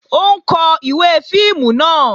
Ó ń kó ìwé fíìmù náà